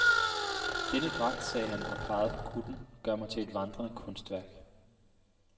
Denne dragt, sagde han og pegede på kutten, gør mig til et vandrende kunstværk.